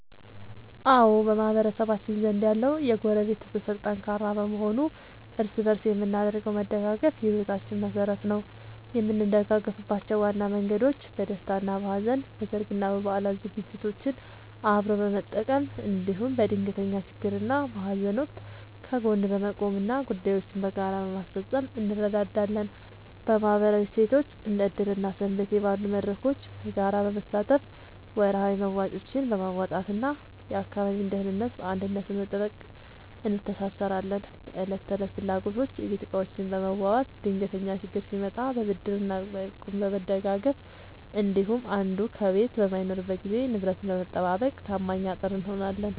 አዎ፣ በማህበረሰባችን ዘንድ ያለው የጎረቤት ትስስር ጠንካራ በመሆኑ እርስ በእርስ የምናደርገው መደጋገፍ የሕይወታችን መሠረት ነው። የምንደጋገፍባቸው ዋና መንገዶች፦ በደስታና በሐዘን፦ በሠርግና በበዓላት ዝግጅቶችን አብሮ በመቀመም፣ እንዲሁም በድንገተኛ ችግርና በሐዘን ወቅት ከጎን በመቆምና ጉዳዮችን በጋራ በማስፈጸም እንረዳዳለን። በማኅበራዊ እሴቶች፦ እንደ ዕድር እና ሰንበቴ ባሉ መድረኮች በጋራ በመሳተፍ፣ ወርሃዊ መዋጮዎችን በማዋጣትና የአካባቢን ደህንነት በአንድነት በመጠበቅ እንተሳሰራለን። በዕለት ተዕለት ፍላጎቶች፦ የቤት ዕቃዎችን በመዋዋስ፣ ድንገተኛ ችግር ሲመጣ በብድርና በእቁብ በመደጋገፍ እንዲሁም አንዱ ከቤት በማይኖርበት ጊዜ ንብረትን በመጠባበቅ ታማኝ አጥር እንሆናለን።